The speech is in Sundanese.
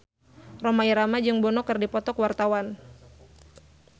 Rhoma Irama jeung Bono keur dipoto ku wartawan